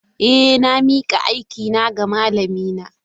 Eh, na mika aikina ga malamina.